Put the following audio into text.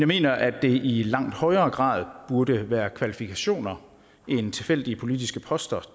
mener at det i langt højere grad burde være kvalifikationer end tilfældige politiske poster